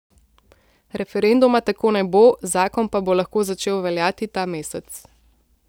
Referenduma tako ne bo, zakon pa bo lahko začel veljati ta mesec.